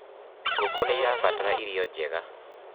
ngũkũ nĩirabatara irio njega